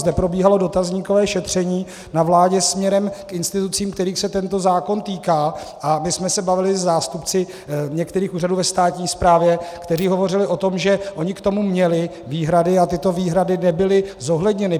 Zde probíhalo dotazníkové šetření na vládě směrem k institucím, kterých se tento zákon týká, a my jsme se bavili se zástupci některých úřadů ve státní správě, kteří hovořili o tom, že oni k tomu měli výhrady a tyto výhrady nebyly zohledněny.